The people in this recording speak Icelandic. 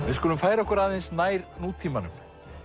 við skulum færa okkur aðeins nær nútímanum